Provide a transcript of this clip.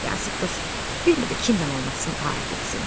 Yazıq qız bilmirdi kimlə oynasın, hara getsin.